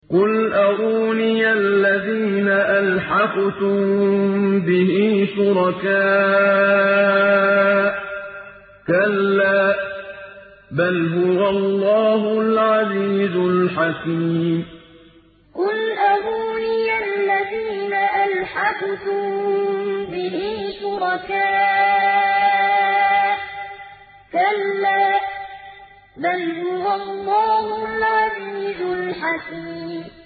قُلْ أَرُونِيَ الَّذِينَ أَلْحَقْتُم بِهِ شُرَكَاءَ ۖ كَلَّا ۚ بَلْ هُوَ اللَّهُ الْعَزِيزُ الْحَكِيمُ قُلْ أَرُونِيَ الَّذِينَ أَلْحَقْتُم بِهِ شُرَكَاءَ ۖ كَلَّا ۚ بَلْ هُوَ اللَّهُ الْعَزِيزُ الْحَكِيمُ